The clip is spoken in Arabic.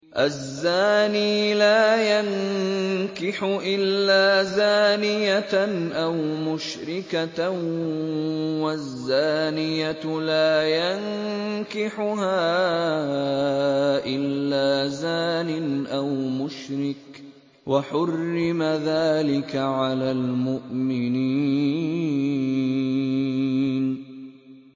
الزَّانِي لَا يَنكِحُ إِلَّا زَانِيَةً أَوْ مُشْرِكَةً وَالزَّانِيَةُ لَا يَنكِحُهَا إِلَّا زَانٍ أَوْ مُشْرِكٌ ۚ وَحُرِّمَ ذَٰلِكَ عَلَى الْمُؤْمِنِينَ